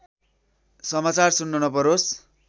समाचार सुन्न नपरोस्